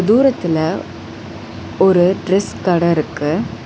தூரத்துல ஒரு டிரஸ் கட இருக்கு.